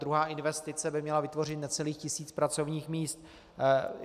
Druhá investice by měla vytvořit necelých tisíc pracovních míst.